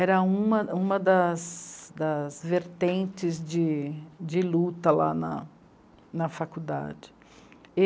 Era uma das, das vertentes de luta lá na faculdade.